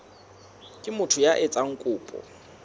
ke motho ya etsang kopo